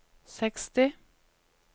seksti